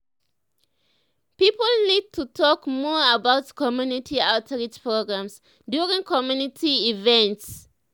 people need to talk more about community outreach programs during community events.